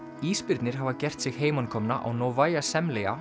ísbirnir hafa gert sig heimakomna á á Novaya